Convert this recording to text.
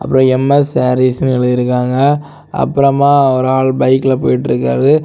அப்ரோ எம்_எஸ் சாரீஸ்னு எழுதியிருக்காங்க அப்புறமா ஒரு ஆள் பைக்ல போயிட்டருக்காரு.